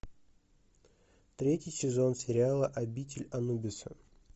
третий сезон сериала обитель анубиса